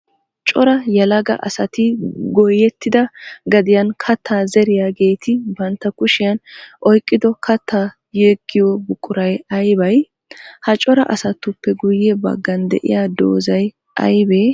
Cora yelaga asatti goyettida gadiyan katta zeriyaagetti bantta kushiyan oyqqiddo katta yegiyo buquray aybbay? Ha cora asatuppe guye bagan de'iyaa doozay aybbe?